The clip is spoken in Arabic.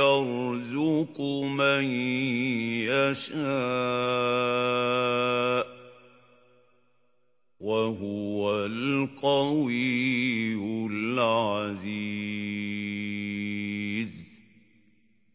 يَرْزُقُ مَن يَشَاءُ ۖ وَهُوَ الْقَوِيُّ الْعَزِيزُ